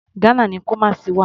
Ghana ni Kumasi wà.